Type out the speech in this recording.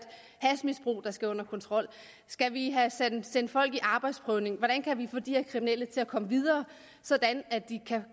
hashmisbrug der skal under kontrol skal vi have sendt folk i arbejdsprøvning hvordan kan vi få de her kriminelle til at komme videre sådan at de kan